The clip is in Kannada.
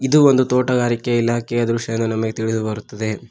ಇದು ಒಂದು ತೋಟಗಾರಿಕೆ ಇಲಾಖೆಯ ದೃಶ್ಯ ಎಂದು ನಮಗೆ ತಿಳಿದುಬರುತ್ತದೆ.